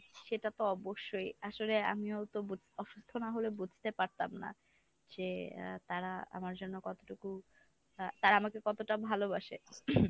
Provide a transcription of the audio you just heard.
সেটা তো অবশ্যই আসলে আমিও তো বুঝ অসুস্থ না হলে বুঝতে পারতাম না। যে আহ তারা আমার জন্য কতটুকু আহ তারা আমাকে কতটা ভালোবাসে।